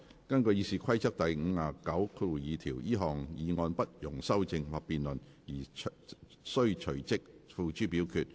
根據《議事規則》第592條，這項議案不容修正或辯論而須隨即付諸表決。